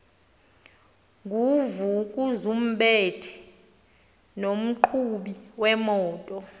nguvukuzumbethe nomqhubi wemoto